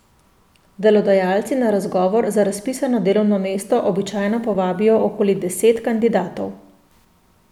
Delodajalci na razgovor za razpisano delovno mesto običajno povabijo okoli deset kandidatov.